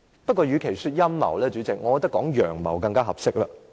不過，與其稱這為陰謀，主席，我認為稱為"陽謀"更為合適。